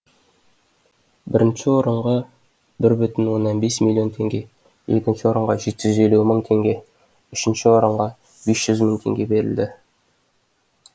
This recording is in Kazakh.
бірінші орынға бір бүтін оннан бес миллион теңге екінші орынға жеті жүз елу мың теңге үшінші орынға бес жүз мың теңге берілді